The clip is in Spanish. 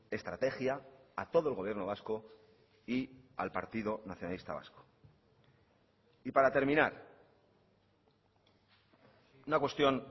estrategia a todo el gobierno vasco y al partido nacionalista vasco y para terminar una cuestión